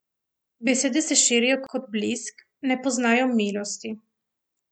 Besede se širijo kot blisk, ne poznajo milosti.